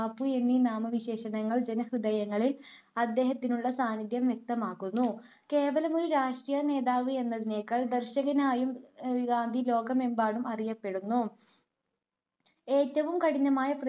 ബാപ്പു എന്നീ നാമവിശേഷണങ്ങൾ ജനഹൃദയങ്ങളിൽ അദ്ദേഹത്തിനുള്ള സാന്നിധ്യം വ്യക്തമാക്കുന്നു. കേവലമൊരു രാഷ്ട്രീയ നേതാവ് എന്നതിനേക്കാൾ ദർശനികനായുംഗാന്ധി ലോകമെമ്പാടും അറിയപ്പെടുന്നു. ഏറ്റവും കഠിനമായ